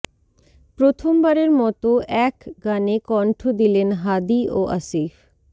প্রথমবারের মতো এক গানে কণ্ঠ দিলেন হাদী ও আসিফ